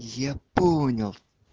я понял